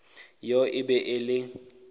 yoo e be e le